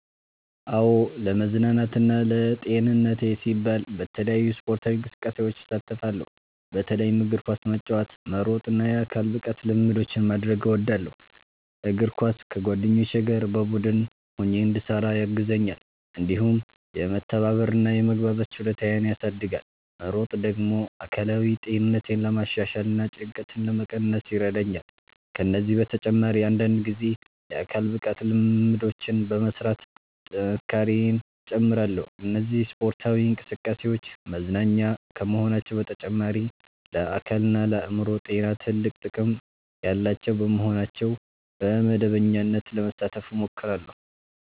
"አዎ፣ ለመዝናናትና ለጤንነቴ ሲባል በተለያዩ ስፖርታዊ እንቅስቃሴዎች እሳተፋለሁ። በተለይም እግር ኳስ መጫወት፣ መሮጥ እና የአካል ብቃት ልምምዶችን ማድረግ እወዳለሁ። እግር ኳስ ከጓደኞቼ ጋር በቡድን ሆኜ እንድሰራ ያግዘኛል፣ እንዲሁም የመተባበር እና የመግባባት ችሎታዬን ያሳድጋል። መሮጥ ደግሞ አካላዊ ጤንነቴን ለማሻሻል እና ጭንቀትን ለመቀነስ ይረዳኛል። ከዚህ በተጨማሪ አንዳንድ ጊዜ የአካል ብቃት ልምምዶችን በመሥራት ጥንካሬዬን እጨምራለሁ። እነዚህ ስፖርታዊ እንቅስቃሴዎች መዝናኛ ከመሆናቸው በተጨማሪ ለአካልና ለአእምሮ ጤና ትልቅ ጥቅም ያላቸው በመሆናቸው በመደበኛነት ለመሳተፍ እሞክራለሁ።"